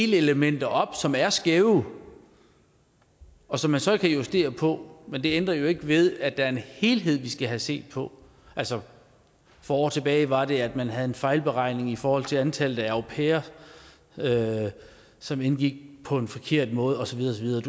delelementer op som er skæve og som man så kan justere på men det ændrer jo ikke ved at der er en helhed vi skal have set på altså for år tilbage var det at man havde en fejlberegning i forhold til antallet af au pairer som indgik på en forkert måde og så videre og